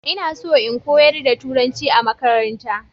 ina so in koyar da turanci a makaranta